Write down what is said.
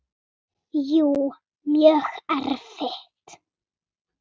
Jú, mjög erfitt.